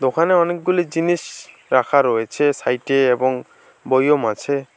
ওখানে অনেকগুলি জিনিস রাখা রয়েছে সাইডে এবং বয়ম আছে।